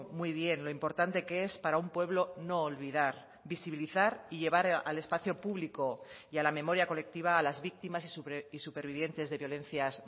muy bien lo importante que es para un pueblo no olvidar visibilizar y llevar al espacio público y a la memoria colectiva a las víctimas y supervivientes de violencias